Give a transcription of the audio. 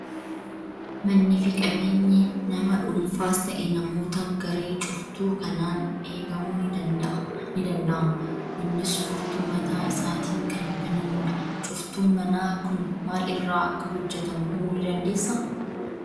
Mannii fi qabeenyi nama dhuunfaas ta'e, namoota garee cuftuu kanaan eegamuu ni danda'ama. Innis furtuu mataa isaatiin kan banamu dha. Cuftuun manaa kun maal irraa akka hojjetamu himuu ni dandeessaa?